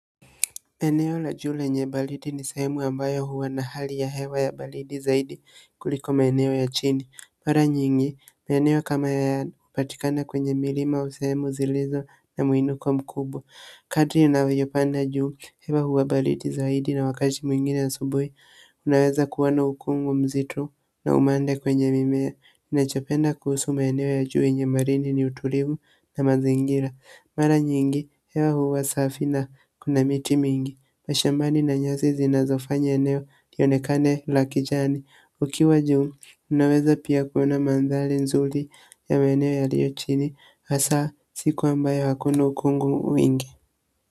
Eneo la jua lenye baridi ni sehemu ambayo huwa na hali ya hewa ya baridi zaidi kuliko maeneo ya chini. Mara nyingi, eneo kama haya hupatikana kwenye milima au sehemu zilizo na muinuko mkubwa. Kadri inavyopanda juu, hewa huwa baridi zaidi na wakati mwingine ya asubuhi. Unaweza kuwa na ukungu mzito na umande kwenye mimea. Ninachopenda kuhusu maeneo ya juu yenye marini ni utulivu na mazingira. Mara nyingi, hewa huwa safi na kuna miti mingi masha mbani na nyasi zinazofanya eneo ionekane lakijani ukiwa juu, unaweza pia kuona mandhali nzuri ya maeneo yaliochini hasa siku ambayo hakuna ukungu mingi.